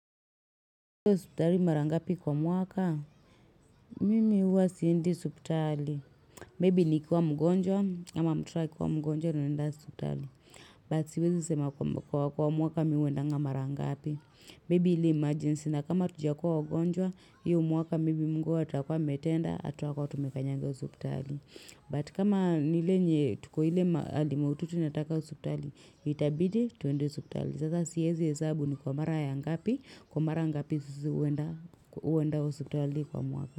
Umekuwa hospitali mara ngapi kwa mwaka? Mimi huwa siendi hospitali. Maybe nikiwa mgonjwa ama mtoto akiwa mgonjwa naenda hospitali. But, siwezi sema kwa mwaka mimi huendanga mara ngapi. Maybe ile emergency, na kama hatujakuwa mgonjwa, hio mwaka maybe mungu atakuwa ametenda hatutakuwa tumekanyanga hospitali. But kama ni ile yenye tuko ile hali mahututi nataka hospitali, itabidi tuende hospitali. Sasa siwezi hesabu ni kwa mara ya ngapi, kwa mara ngapi sisi huenda hospitali kwa mwaka.